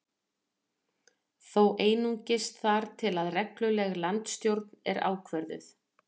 Þó einungis þar til að regluleg landsstjórn er ákvörðuð